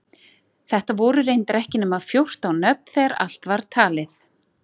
Þetta voru reyndar ekki nema fjórtán nöfn þegar allt var talið.